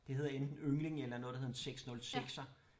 Det hedder enten Yngling eller noget der hedder en 6 0 sekser